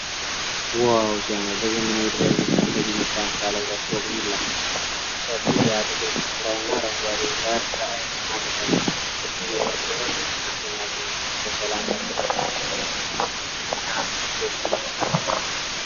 ዋው ሲያምር! በዘመናዊ ጥበብ የተገነባ ባለ ሁለት ፎቅ ቪላ። ሰፊው የአትክልት ስፍራውና አረንጓዴው ሳር ለዓይን ይማርካል። የቤቱ አሠራር ልዩና አስደናቂ ነው። በሰላም ለመኖር የሚያጓጓ ቤት! መልክዓ ምድሩ ደስታን ይፈጥራል።